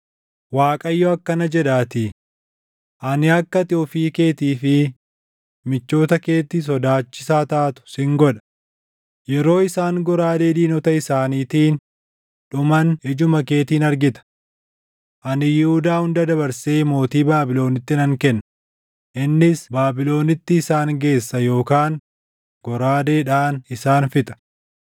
Waaqayyo akkana jedhaatii; ‘Ani akka ati ofii keetii fi michoota keetti sodaachisaa taatu sin godha; yeroo isaan goraadee diinota isaaniitiin dhuman ijuma keetiin argita. Ani Yihuudaa hunda dabarsee mootii Baabiloniitti nan kenna; innis Baabilonitti isaan geessa yookaan goraadeedhaan isaan fixa.